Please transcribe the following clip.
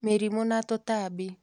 Mĩrimũ na tũtambi